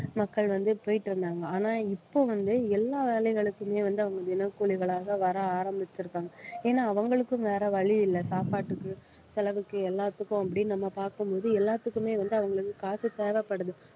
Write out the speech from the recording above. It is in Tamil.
மக்கள் வந்து போயிட்டு இருந்தாங்க ஆனா இப்போ வந்து எல்லா வேலைகளுக்குமே வந்து அவங்க தினக்கூலிகளாக வர ஆரம்பிச்சிருக்காங்க ஏன்னா அவங்களுக்கும் வேற வழி இல்லை சாப்பாட்டுக்கு செலவுக்கு எல்லாத்துக்கும் அப்படின்னு நம்ம பார்க்கும் போது எல்லாத்துக்குமே வந்து அவங்களுக்கு காசு தேவைப்படுது